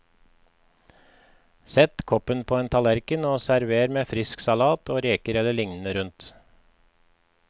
Sett koppen på en tallerken og server med frisk salat og reker eller lignende rundt.